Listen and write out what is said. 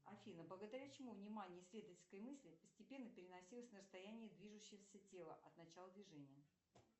афина благодаря чему внимание исследовательской мысли постепенно переносилось на расстояние движущегося тела от начала движения